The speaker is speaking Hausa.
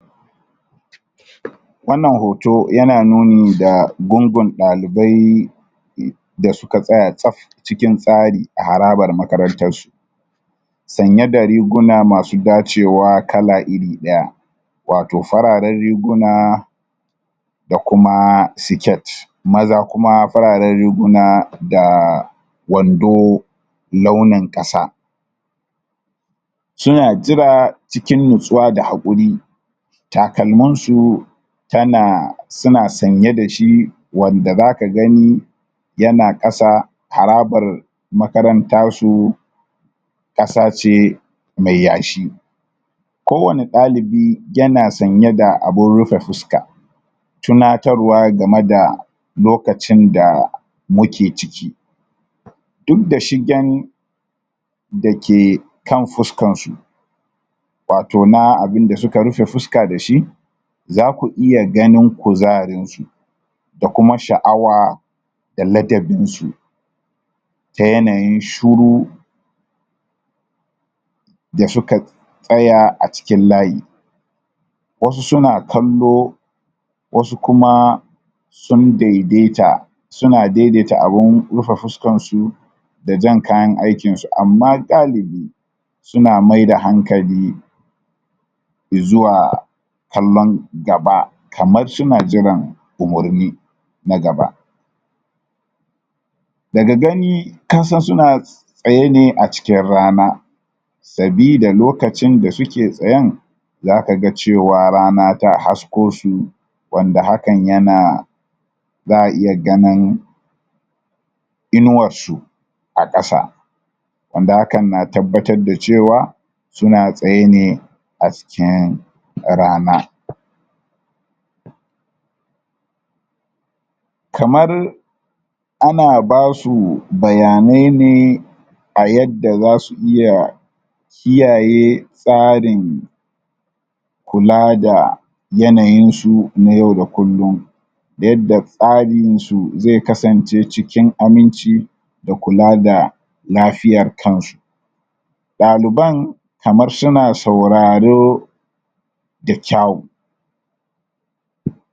wannan hoto yana nuni da gungun dalibai da suka tsaya tsab cikin tsari a harabar makarantan su sanye da riguna masu dacewa kala iri daya wato fararen riguna da kuma siket maza kuma fararen riguna da wando launin kasa suna jira cikin natsuwa da hakuri takalmansu tana suna sanye dashi wanda zaka gani yana kasa harabar makarantan su kasa ce mai yashi kowani dalibi yana sanye da abun rufe fuska tunatarwa game da lokacin da muke ciki duk da shigen dake kan fuskansu wato na abunda suka rufe fuska dashi zaku iya ganin kuzarin su da kuma shaawa da ladabinsu ta yanayin shiru da suka tsaya a cikin layi wasu suna kallo wasu kuma sun daidai ta suna dai dai ta abun rufe fuskan su da jan kayan aikinsu amma dalibi suna maida hankali izuwa kallon gaba kamar suna jiran umurni na gaba daga gani kasan suna tsaye ne a cikin rana sabida lokacin da suke tsayen zaka ga cewa rana ta hasko su wanda hakan yana za a iya ganin inuwar su a kasa wanda hakan na tabbatar da cewa suna tsaye ne a cikin rana kamar ana basu bayanai ne a yadda zasu iya kiyaye tsarin kula da yanayin su na yau da kullum da yadda tsarin su zai kasance cikin aminci da kula da lafiyar kansu daliban kamar suna suararo da kyau?